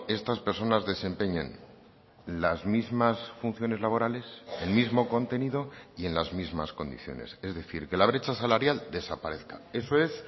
estas personas desempeñen las mismas funciones laborales el mismo contenido y en las mismas condiciones es decir que la brecha salarial desaparezca eso es